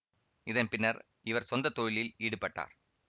இதன் பின்னர் இவர் சொந்தத் தொழிலில் ஈடுபட்டார்